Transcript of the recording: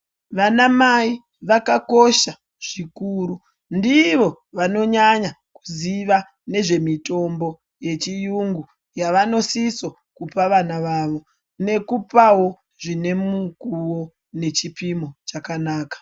Vanamai vakakosha zvikuru ndivo vanonyanya kuziva nezvemutombo yechiyungu yavanosisa kupa vana vavo nekupawo zvinemukuwo nechipimo chakanaka.